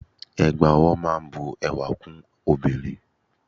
Ẹ̀gbà ọwọ́ máa ń bu ẹwà fún obìnrin.